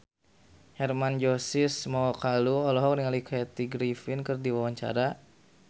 Hermann Josis Mokalu olohok ningali Kathy Griffin keur diwawancara